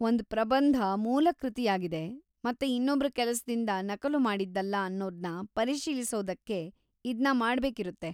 ಒಂದ್ ಪ್ರಬಂಧ ಮೂಲಕೃತಿಯಾಗಿದೆ ಮತ್ತೆ ಇನ್ನೊಬ್ರ ಕೆಲ್ಸದಿಂದ ನಕಲುಮಾಡಿದ್ದಲ್ಲ ಅನ್ನೋದ್ನ ಪರಿಶೀಲಿಸೋಕ್ಕೆ ಇದ್ನ ಮಾಡ್ಬೇಕಿರುತ್ತೆ.